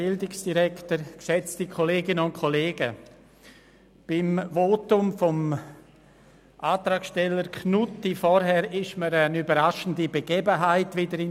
Beim Votum des Antragsstellers Knutti fiel mir wieder eine überraschende Begebenheit ein.